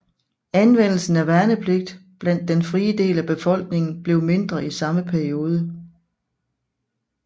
Anvendelsen af værnepligt blandt den frie del af befolkningen blev mindre i samme periode